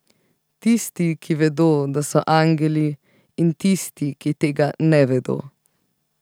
Tisti, ki vedo, da so angeli, in tisti, ki tega ne vedo.